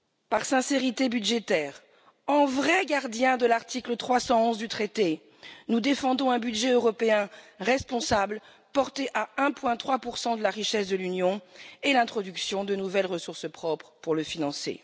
Par sincérité budgétaire, en vrai gardien de l'article 311 du traité, nous défendons un budget européen responsable porté à 1,3 de la richesse de l'Union et l'introduction de nouvelles ressources propres pour le financer.